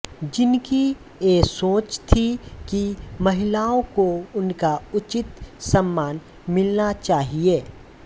जिनकी यह सोच थी की महिलाओं को उनका उचित सम्मान मिलना चाहिए